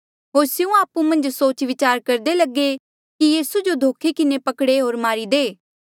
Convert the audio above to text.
होर स्यों आपु मन्झ सोच विचार करदे लगे कि यीसू जो धोखे किन्हें पकड़े होर मारी दे